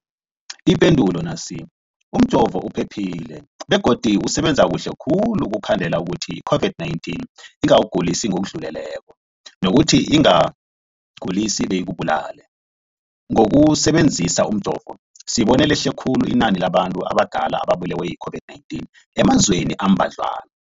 Ipendulo, umjovo uphephile begodu usebenza kuhle khulu ukukhandela ukuthi i-COVID-19 ingakugulisi ngokudluleleko, nokuthi ingakugulisi beyikubulale. Ngokusebe nzisa umjovo, sibone lehle khulu inani labantu abadala ababulewe yi-COVID-19 emazweni ambadlwana.